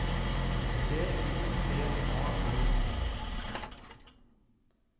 T O T A L E